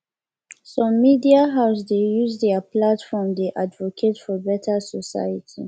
some media house dey use their platform dey advocate for better society